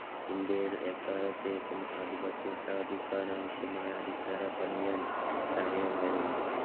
ഇന്ത്യയിൽ എക്കാലത്തേക്കും ആധിപത്യം സ്ഥാപിക്കാൻ ആവശ്യമായ അടിസ്ഥാനം പണിയാൻ സമയമായിരുന്നു.